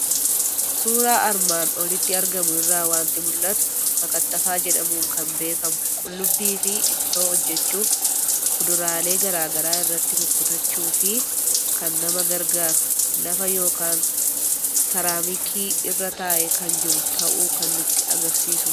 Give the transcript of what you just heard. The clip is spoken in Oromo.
Suuura armaan olitti argamu irraa waanti mul'atu; makkattafaa jedhamuun kan beekamu Qullubbiifi ittoo hojjetachuuf kuduraalee garaagaraa irratti kukutachuufi kan nama gargaaru lafa yookiin saraamikii irra taa'e kan jiru ta'uu kan nutti agarsiisudha